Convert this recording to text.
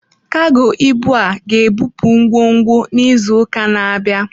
Kago ibu a ga-ebupụ ngwongwo n'izu ụka na-abịa.